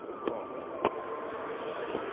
Foi bom, né. e